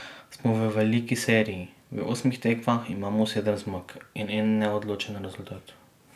Smo v veliki seriji, v osmih tekmah imamo sedem zmag in en neodločen rezultat.